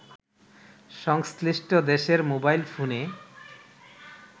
সংশ্লিষ্ট দেশের মোবাইল ফোনে